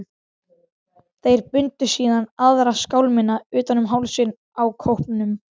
Þeir bundu síðan aðra skálmina utan um hálsinn á kópnum.